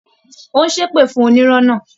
Ó ń ṣépè fún onírọ́ náà